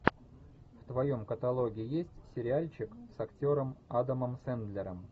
в твоем каталоге есть сериальчик с актером адамом сэндлером